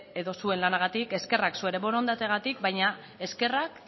bere edo zuen lanagatik eskerrak zuen borondatearengatik baina eskerrak